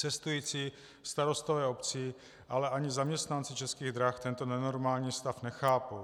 Cestující, starostové obcí, ale ani zaměstnanci Českých drah tento nenormální stav nechápou.